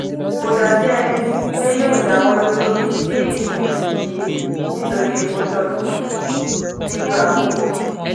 kò dàbí ẹni pé yóò dáwọ́ dúró sí ìsin yìí nítorí epo dọ̀tun nílò àkókò.